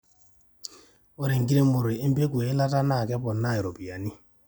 ore enkiremore empeku eilata naa kepona iropiani